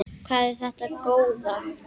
Hvað er þetta góða!